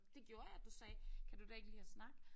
Det gjorde jeg du sagde kan du da ikke lide at snakke